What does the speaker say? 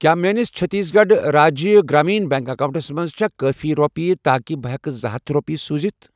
کیٛاہ میٲنِس Chhattisgarh Rajya Gramin bank accounts منٛز چھےٚ کٲفی رۄپیہِ تاکہِ بہٕ ہٮ۪کہٕ زٕ ہتھَ رۄپیہِ سوٗزِتھَ؟